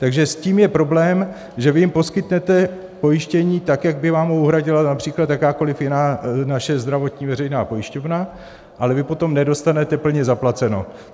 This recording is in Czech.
Takže s tím je problém, že vy jim poskytnete pojištění tak, jak by vám ho uhradila například jakákoli jiná naše zdravotní veřejná pojišťovna, ale vy potom nedostanete plně zaplaceno.